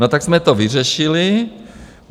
No tak jsme to vyřešili.